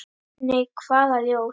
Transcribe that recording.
Nei, hvaða ljós?